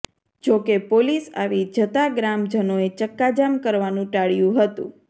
જોકે પોલીસ આવી જતા ગ્રામજનોએ ચક્કાજામ કરવાનું ટાળ્યું હતું